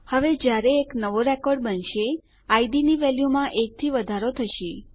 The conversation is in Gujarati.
હવે જયારે એક નવો રેકોર્ડ બનશે ઇડ ની વેલ્યુમાં એકથી વધારો થશે